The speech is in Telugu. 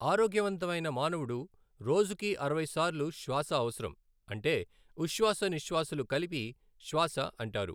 ఆరోగ్యవంతమైన మానవుడు రోజుకు అరవై సార్లు శ్వాస అవసరం అంటే ఉశ్వాసనిశ్వాలు కలిపి శ్వాస అంటారు.